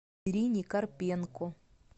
ирине карпенко